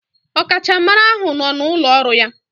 Ọkachamara ahụ nọ n'ụlọ ọrụ ya.